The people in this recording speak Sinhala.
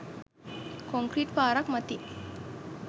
කොන්ක්‍රීට් පාරක් මතින්.